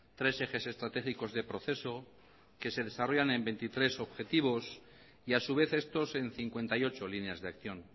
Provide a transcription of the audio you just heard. tres ejes estratégicos de proceso que se desarrollan en veintitrés objetivos y a su vez estos en cincuenta y ocho líneas de acción